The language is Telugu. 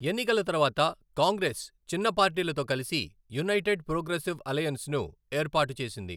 ఎన్నికల తర్వాత, కాంగ్రెస్ చిన్న పార్టీలతో కలిసి యునైటెడ్ ప్రోగ్రెసివ్ అలయన్స్ను ఏర్పాటు చేసింది.